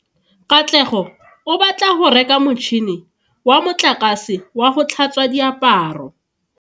Katlego o batla go reka motšhine wa motlakase wa go tlhatswa diaparo.